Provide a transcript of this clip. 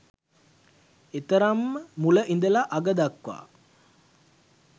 ඒතරම්ම මුල ඉඳලා අග දක්වා